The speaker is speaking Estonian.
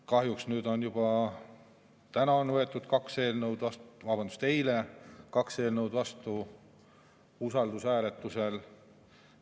Kahjuks on eile võetud juba kaks eelnõu vastu usaldushääletusega.